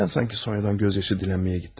Nədənsanki Sonyadan göz yaşı dilənməyə getdim.